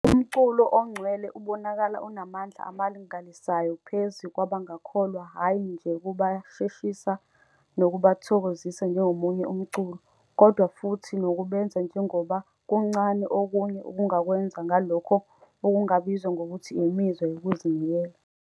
Umculo ongcwele ubonakala unamandla amangalisayo phezu kwabangakholwa hhayi nje ukubasheshisa noma ukubathokozisa njengomunye umculo, kodwa futhi nokubenza, njengoba kuncane okunye okungakwenza, ngalokho okungabizwa ngokuthi imizwa yokuzinikela.